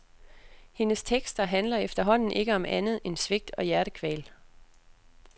Hendes tekster handler efterhånden ikke om andet end svigt og hjertekval.